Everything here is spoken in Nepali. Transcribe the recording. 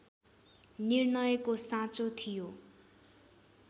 निर्णयको साँचो थियो